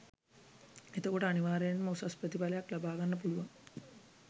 එතකොට අනිවාර්යයෙන්ම උසස් ප්‍රතිඵලයක් ලබා ගන්න පුළුවන්